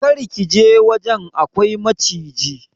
Kar ka je wajen, akwai maciji.